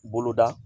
Bolo da